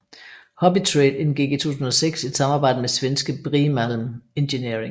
Hobbytrade indgik i 2006 et samarbejde med svenske Brimalm enginering